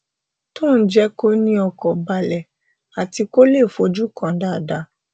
tó ń jé kó ní ọkàn balẹ àti kó lè fojúkan dáadáa